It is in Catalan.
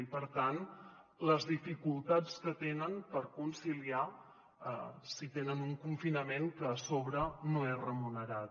i per tant les dificultats que tenen per conciliar si tenen un confinament que a sobre no és remunerat